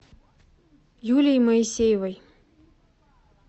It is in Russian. юлии моисеевой